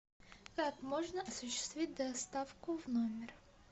как можно осуществить доставку в номер